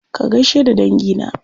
Ka gaishe da dangi na.